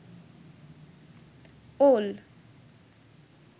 ওল